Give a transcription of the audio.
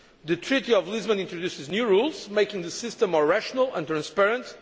The Treaty of Lisbon introduces new rules making the system more rational and transparent.